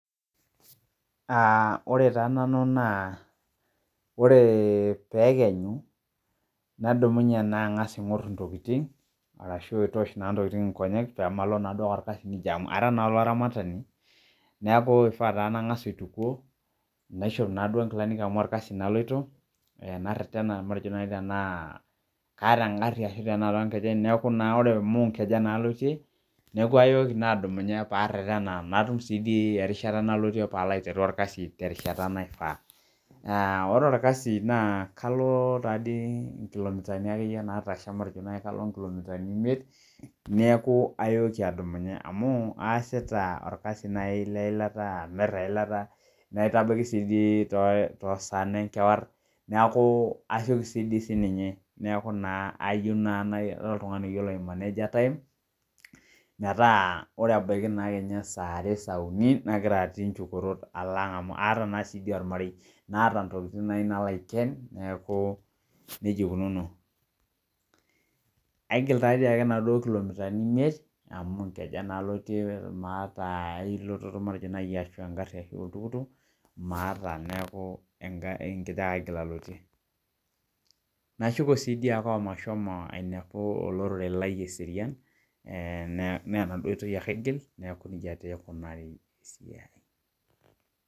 Ore taa nanu naa ore peekenyu nadumunye naa angas ang'or ntokiting arashu aitosh intokiting enkongu pee malo olkasi nija amu ara naa olaramatani neeku ifaa taa nang'as aitukuo naishop inamuka naaduo onkilani amu olkasi naaduo aloito naretena matejo nai tenaa kaata engharhi ashu toonkejek neeku naa amu inkejek naa alotie neeku ayooki naa adumunye paaretena natum sii erishata nalotie paalo aiteru olkasi terishata naifaa Naa ore olkasi naa kalo taadii inkilomitani akeyie naatasha metejo nai alo inkilomitani imiet neeku ayooki adumunye amu aasita olkasi nai leilata amir eilata naitabiki naa sii toosaan enkewarie neeku asiokisioki sii dii siininye neeku naa ore oltung'ani oyiolo aimaneja time neeku naa metaa ore ebaiki naa kenya saa are saa uni nagira atii njukorot alo ang" amu aata naa sii dii olmarei naata intokiting nayieu nalo aiken hoo nija ikunuuno Aigil taa dii ake inaduo kilomitani imiet amu nkejek naa alotie maata ai lototo matejo nai engharhi ashu oltukutuk maata neeku ingejek ake aigil alotie Nashuko sii dii omashomo ainepu olorere lai eserian menaduo toki ake aigil neeku nija tee eikunari esiai